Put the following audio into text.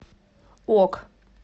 ок